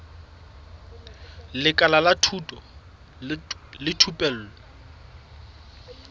lekala la thuto le thupelo